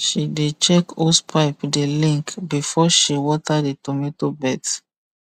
she dey check hose pipe dey link before she water the tomato beds